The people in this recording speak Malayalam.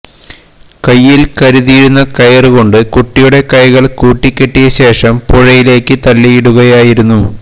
കയ്യില് കരുതിയിരുന്ന കയര് കൊണ്ട് കുട്ടിയുടെ കൈകള് കൂട്ടിക്കെട്ടിയ ശേഷം പുഴയിലേക്ക് തള്ളിയിടുകയായിരുന്നു